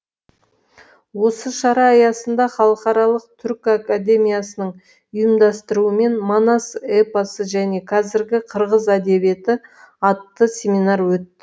осы шара аясында халықаралық түркі академиясының ұйымдастыруымен манас эпосы және қазіргі қырғыз әдебиеті атты семинар өтті